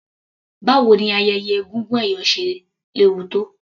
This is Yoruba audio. Báwo ni ayẹyẹ egúngún ẹ̀yọ̀ ṣe léwu tó.